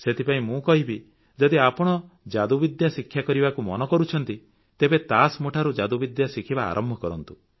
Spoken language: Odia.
ସେଥିପାଇଁ ମୁଁ କହିବି ଯଦି ଆପଣ ଯାଦୁବିଦ୍ୟା ଶିକ୍ଷା କରିବାକୁ ମନ କରୁଛନ୍ତି ତେବେ ତାସ୍ ମୁଠିରୁ ଯାଦୁବିଦ୍ୟା ଶିଖିବା ଆରମ୍ଭ କରନ୍ତୁ